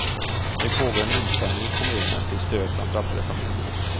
Nu pågår en insamling i kommunen till stöd för de drabbade familjerna.